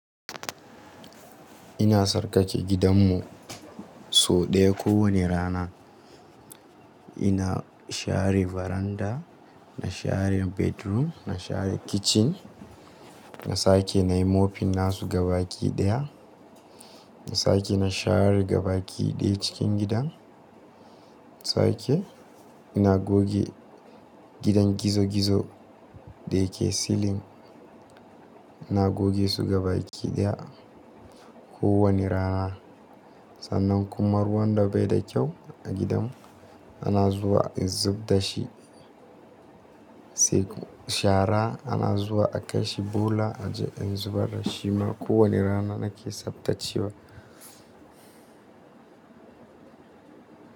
Ina sarƙaƙe gidanmu sau ɗaya kowane rana. Ina share veranda, na share bedroom, na share kitchen. Na sake na yi mopping na su gabaki ɗaya. Na sake na share gabaɗaya cikin gidan. Na sake ina goge gidan gizo-gizo da yake ceiling. Ina goge su gabaɗaya kowane rana. Sannan kuma ruwan da bai da kyau a gidan ana zuwa a zub da shi. Sai shara ana zuwa a kai shi bola a ji in zubar da shi ma. Kowane rana nake tsaftacewa.